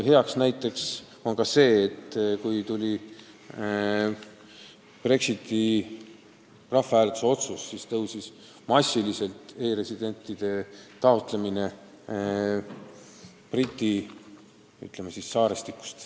Hea näide on ka see, et kui tuli Brexiti rahvahääletuse otsus, siis kasvas massiliselt e-residentsuse taotlemine Briti saartelt.